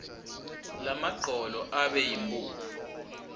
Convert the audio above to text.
lamagcolo abe yimphuphu